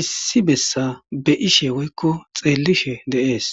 issi bessa be ishe woykko xeellishe deees.